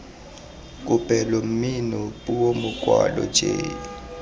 kopelo mmino puo mokwalo j